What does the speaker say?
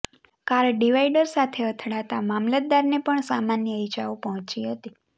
car divider સાથે અથડાતા મામલતદારને પણ સમાન્ય ઇજાઓ પહોંચી હતી